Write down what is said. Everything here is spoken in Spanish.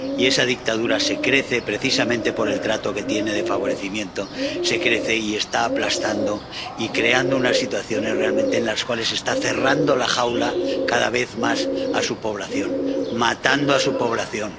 Y esa dictadura se crece, precisamente por el trato que tiene de favorecimiento, y está aplastando y creando unas situaciones en las cuales realmente está cerrando la jaula cada vez más a su población está matando a su población.